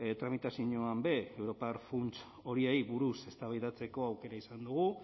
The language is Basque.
tramitazinoanbe europar funts horiei buruz eztabaidatzeko aukera izan dugu